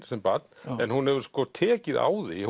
sem barn en hún hefur sko tekið á því